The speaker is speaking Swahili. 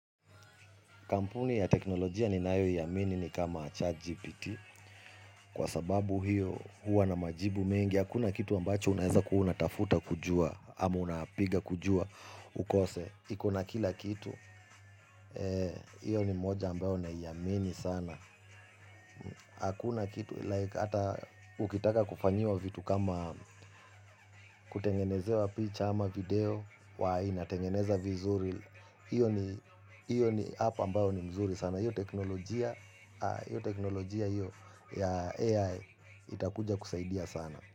Kampuni ya teknolojia ninayo iamini ni kama chat GPT. Kwasababu hiyo huwa na majibu mengi. Hakuna kitu ambacho unaweza kuwa unatafuta kujua. Ama unapiga kujua ukose. Ikona kila kitu. hIyo ni moja ambayo naiamini sana. Hakuna kitu. Hata ukitaka kufanyiwa vitu kama kutengeneze wa picha ama video. Wai inatengeneza vizuri. Hiyo ni app ambayo ni mzuri sana. Na hiyo teknolojia ya AI itakuja kusaidia sana.